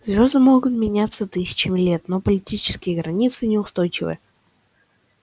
звёзды могут не меняться тысячами лет но политические границы неустойчивы